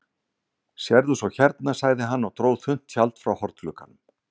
Sérðu svo hérna, sagði hann og dró þunnt tjald frá hornglugganum.